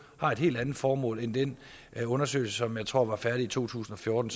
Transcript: har et helt andet formål end den undersøgelse som jeg tror var færdig i to tusind og fjorten